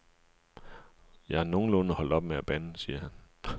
Jeg er nogenlunde holdt op med at bande, siger han.